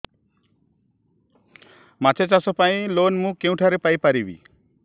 ମାଛ ଚାଷ ପାଇଁ ଲୋନ୍ ମୁଁ କେଉଁଠାରୁ ପାଇପାରିବି